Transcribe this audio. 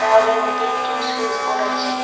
ওয়ালের মধ্যে একটি স্যুইচবোর্ড আছে।